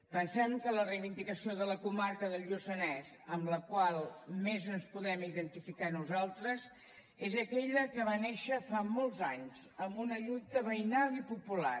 pensem que la reivindicació de la comarca del lluçanès amb la qual més ens podem identificar nosaltres és aquella que va néixer fa molts anys amb una lluita veïnal i popular